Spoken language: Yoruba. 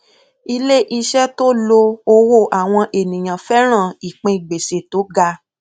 iléiṣẹ tó lo owó àwọn ènìyàn fẹràn ìpín gbèsè tó ga